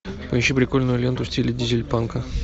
поищи прикольную ленту в стиле дизель панка